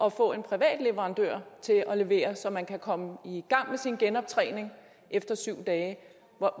at få en privat leverandør til at levere så man kan komme i gang med sin genoptræning efter syv dage